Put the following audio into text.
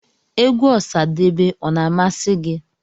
Egwú Osadebe ọ na-amasi gị?